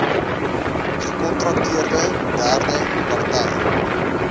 gekontrakteerde derde partye